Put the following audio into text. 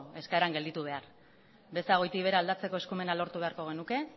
eskaeran gelditu behar beza goitik behera aldatzeko eskumena lortu beharko genuke